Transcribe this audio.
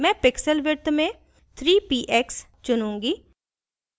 मैं pixel width में 3 px चुनूँगी